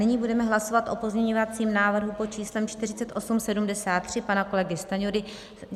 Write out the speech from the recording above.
Nyní budeme hlasovat o pozměňovacím návrhu pod číslem 4873 pana kolegy Stanjury.